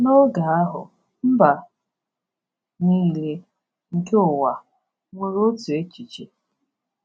N’oge ahụ mba niile nke ụwa nwere otu echiche.